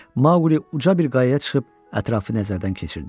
Maqli uca bir qayaya çıxıb ətrafı nəzərdən keçirdi.